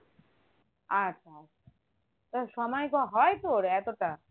আচ্ছা আচ্ছা তা সময় কি হয় তোর এতটা?